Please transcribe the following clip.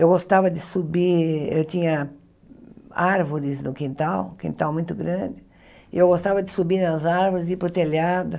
Eu gostava de subir, eu tinha árvores no quintal, um quintal muito grande, e eu gostava de subir nas árvores e ir para o telhado.